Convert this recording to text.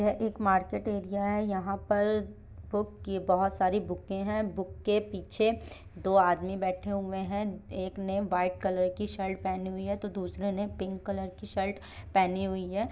यह एक market area है यहाँ पर बुक की बोहोत सारी बूके हैं बुक के पीछे दो आदमी बैठे हुए हैं। एक ने वाइट कलर की शर्ट पेहनी हुई है तो दूसरे ने पिंक कलर की शर्ट पेहनी हुई है।